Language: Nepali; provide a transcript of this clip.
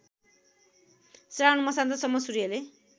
श्रावण मसान्तसम्म सूर्यले